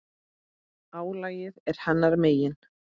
Álagið er hennar megin.